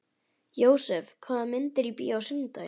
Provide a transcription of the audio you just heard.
Jósep, hvaða myndir eru í bíó á sunnudaginn?